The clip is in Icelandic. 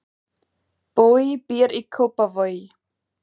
Bogi býr í Kópavogi.